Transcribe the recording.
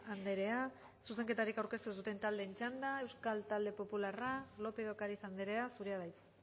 andrea zuzenketarik aurkeztu ez duten taldeen txanda euskal talde popularra lópez de ocariz andrea zurea da hitza